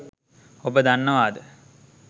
ඔබ දන්නවාද?